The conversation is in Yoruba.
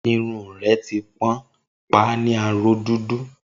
Irun rẹ ti pọ́n, pa á ní aró dúdú